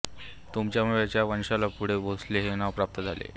त्यांच्यामुळेच या वंशाला पुढे भोसले हे नाव प्राप्त झाले